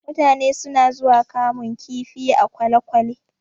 Mutane suna zuwa kamun kifi a kwalekwale